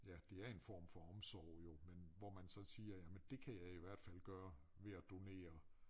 Ja det er en form for omsorg jo men hvor man så siger jamen dét kan jeg i hvert fald gøre ved at donere